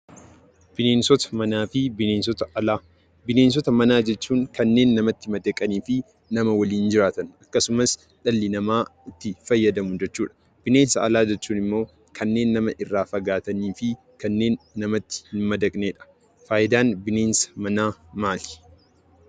Bineensota manaa jechuun kanneen namatti madaqanii fi nama waliin jiraatan, akkasumas dhalli namaa itti fayyadamu jechuudha. Bineensota alaa jechuun immoo kanneen nama irraa fagaataanii fi namatti hin madaqnedha. Faayidaan bineensa manaa maali?